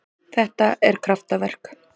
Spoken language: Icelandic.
Þetta er kraftaverk.